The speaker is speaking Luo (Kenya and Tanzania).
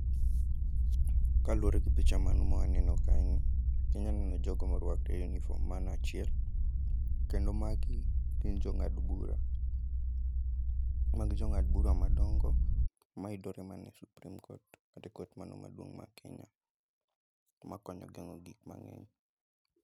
Kaluwore gi picha mano mwaneno kae ni, inya neno jogo morwako uniform mano achiel. Kendo magi gin jong'ad bura, magi jong'ad bura madongo mayudore mane Supreme Court, kate court mano maduong' ma Kenya, ma konyo geng'o gik mang'eny.